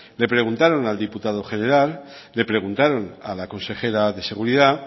le preguntaron al diputado general le preguntaron a la consejera de seguridad